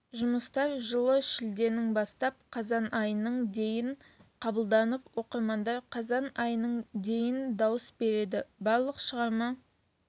жұмыстар жылы шілденің бастап қазан айының дейін қабылданып оқырмандар қазан айының дейін дауыс берді барлық шығарма